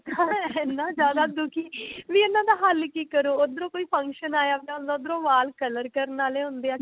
ਇੰਨਾ ਜਿਆਦਾ ਦੁਖੀ ਨਹੀਂ ਇਹਨਾ ਹੱਲ ਕਿ ਕਰੋ ਓਦਰੋ ਕੋਈ function ਆ ਜਾਂਦਾ ਉਦਰੋ ਵਾਲ color ਕਰਨ ਵਾਲੇ ਹੁੰਦੇ ਹੈ